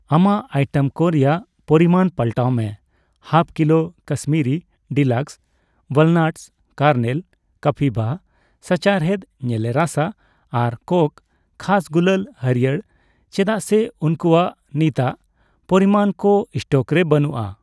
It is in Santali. ᱟᱢᱟᱜ ᱟᱭᱴᱮᱢ ᱠᱚ ᱨᱮᱭᱟᱜ ᱯᱚᱨᱤᱢᱟᱱ ᱯᱟᱞᱴᱟᱣ ᱢᱮ half kilo Kashmiri deluxe walnuts kernel, ᱠᱟᱯᱤᱵᱷᱟ ᱥᱟᱪᱟᱨᱦᱮᱫ ᱧᱮᱞᱮ ᱨᱟᱥᱟ ᱟᱨ ᱠᱚᱠ ᱠᱷᱟᱥ ᱜᱩᱞᱟᱹᱞ ᱦᱟᱲᱭᱟᱹᱨ ᱪᱮᱫᱟᱜ ᱥᱮ ᱩᱝᱠᱩᱣᱟᱜ ᱱᱤᱛᱟᱜ ᱯᱚᱨᱤᱢᱟᱱ ᱠᱚ ᱥᱴᱚᱠ ᱨᱮ ᱵᱟᱹᱱᱩᱜᱼᱟ ᱾